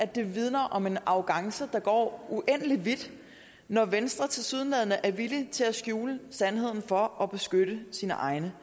det vidner om en arrogance der går uendelig vidt når venstre tilsyneladende er villig til at skjule sandheden for at beskytte sine egne